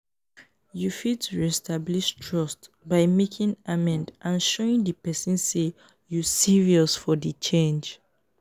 you fit re-establish trust by making amend and showing di pesin say you serious for di change.